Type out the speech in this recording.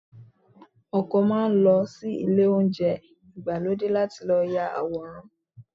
Ọ̀pọ̀ máa ń lọ sí ilé oúnjẹ ìgbàlódé láti ya àwòrán.